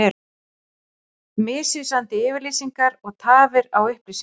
Misvísandi yfirlýsingar og tafir á upplýsingum